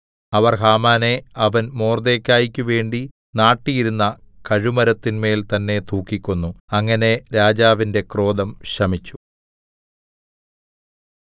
അവർ ഹാമാനെ അവൻ മൊർദെഖായിക്ക് വേണ്ടി നാട്ടിയിരുന്ന കഴുമരത്തിന്മേൽ തന്നേ തൂക്കിക്കൊന്നു അങ്ങനെ രാജാവിന്റെ ക്രോധം ശമിച്ചു